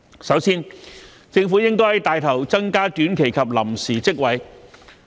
首先，政府應帶頭增加短期及臨時職位。